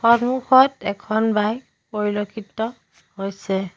সন্মুখত এখন বাইক পৰিলেক্ষিত হৈছে।